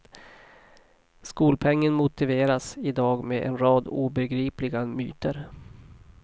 Skolpengen motiveras idag med en rad obegripliga myter.